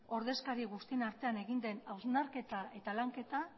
ordezkari guztien artean egin den hausnarketa eta lanketa